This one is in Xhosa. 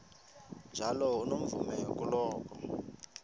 njalo unomvume kuloko